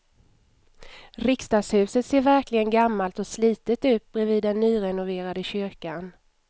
Riksdagshuset ser verkligen gammalt och slitet ut bredvid den nyrenoverade kyrkan.